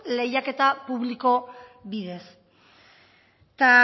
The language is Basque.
lehiaketa publiko bidez eta